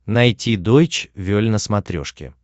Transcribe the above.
найти дойч вель на смотрешке